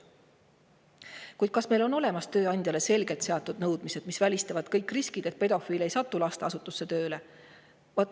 Kuid kas meil on seatud tööandjale selged nõudmised, mis välistavad kõik riskid, et pedofiil ei satuks lasteasutusse tööle?